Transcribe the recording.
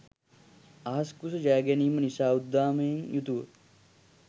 අහස් කුස ජයගැනීම නිසා උද්දාමයෙන් යුතුව